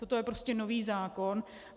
Toto je prostě nový zákon.